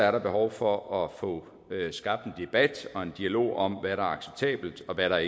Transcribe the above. er behov for at få skabt en debat og en dialog om hvad der er acceptabelt og hvad der